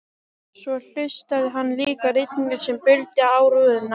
Svo hlustaði hann líka á rigninguna sem buldi á rúðunni.